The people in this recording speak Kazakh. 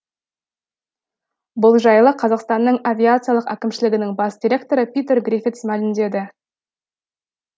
бұл жайлы қазақстанның авиациялық әкімшілігінің бас директоры питер гриффитс мәлімдеді